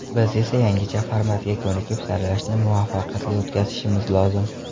Biz esa yangicha formatga ko‘nikib, saralashni muvaffaqiyatli o‘tkazishimiz lozim.